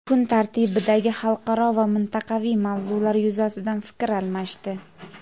kun tartibidagi xalqaro va mintaqaviy mavzular yuzasidan fikr almashdi.